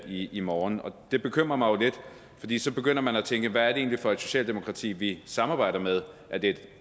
i i morgen det bekymrer mig lidt fordi så begynder man at tænke hvad er det egentlig for et socialdemokrati vi samarbejder med er det et